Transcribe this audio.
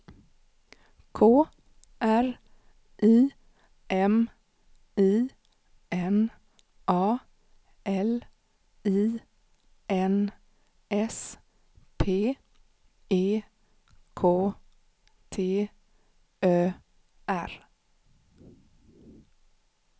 K R I M I N A L I N S P E K T Ö R